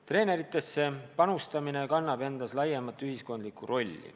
Treeneritesse panustamisel on laiem ühiskondlik roll.